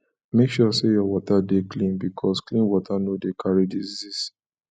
make sure say your water de clean because clean water no de carry diseases